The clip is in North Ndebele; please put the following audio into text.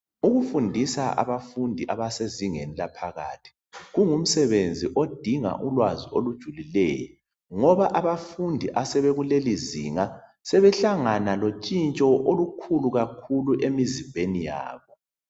Ukufundisa abafundi abasezingeni laphakathi kungumsebenzi odinga ulwazi olujulileyo ngoba abafundi asebekulelizinga sebehlangana lotshinshoolukhulu kakhulu emizimbeni yabo.